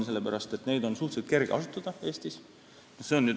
Sellepärast, et neid on suhteliselt kerge siin asutada.